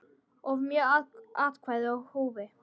Of mörg atkvæði í húfi?